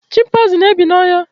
chimpaizin na ebi na ọhịa